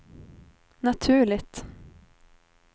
naturligt